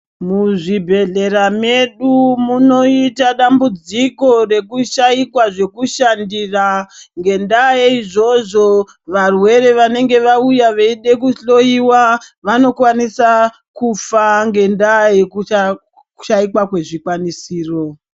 Muzvibhedhlera medu munoyita dambudziko rekushayikwa zvekushandira ngendaa yeizvozvo, varwere vanenge vauya veyida kuhloyiwa vanokwanisa kufa ngendaa yekushayikwa kwezvikwanisiro.